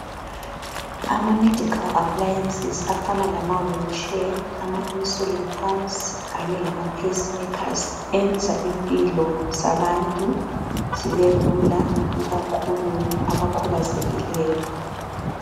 Ama medical appliances afana lama wheelchair, ama insolent pumps ,kanye lama pacemakers enza impilo zabantu zibe lula ikakhulu abakhubazekileyo.